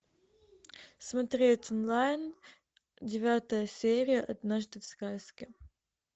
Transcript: смотреть онлайн девятая серия однажды в сказке